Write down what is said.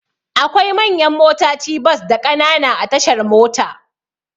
Akwai manyan motaci bas da Ƙanana a tashar mota.